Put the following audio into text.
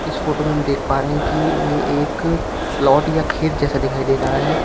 इस फोटो में हम देख पा रहे है कि ये एक प्लॉट या खेत जैसा दिखाई दे रहा है।